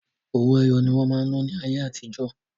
Owó ẹyọ ní wọ́n máa ń ná ní ayé àti jọ́.